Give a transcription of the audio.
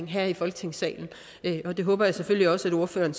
her i folketingssalen det håber jeg selvfølgelig også at ordføreren